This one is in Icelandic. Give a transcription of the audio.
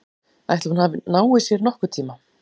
Ætli hún nái sér nokkurntíma?